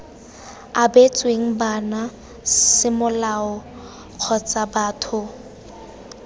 abetsweng bana semolao kgotsa batho